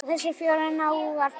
Hafa þessir fjórir náungar breyst?